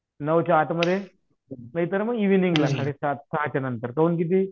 नऊ ते आठ मध्ये नाहीतर मग एव्हिनिगला सात साडे सात सहाच्या नंतर काहून